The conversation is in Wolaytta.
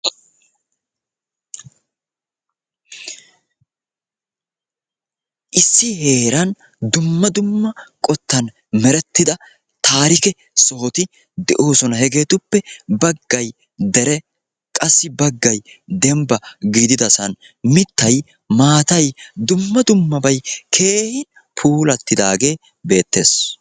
Issi heeran dumma dumma qottan merettida taarike sohoti de'oosona. Hegeetuppe baggay dere qassi baggay dembba gididasan mittay maatay dumma dummabay keehi puulattidaagee beettees.